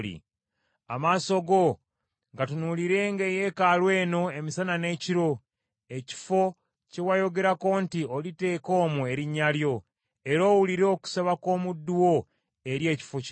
Amaaso go gatunuulirenga eyeekaalu eno emisana n’ekiro, ekifo kye wayogerako nti oliteeka omwo Erinnya lyo, era owulire okusaba kw’omuddu wo eri ekifo kino.